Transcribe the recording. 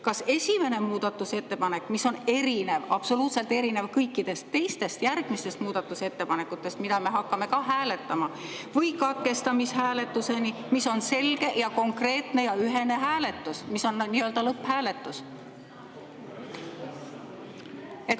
Kas esimene muudatusettepanek, mis on absoluutselt erinev kõikidest teistest järgmistest muudatusettepanekutest, mida me hakkame hääletama, või katkestamishääletus, mis on selge, konkreetne ja ühene hääletus, lõpphääletus?